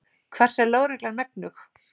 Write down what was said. Hvers er lögreglan megnug?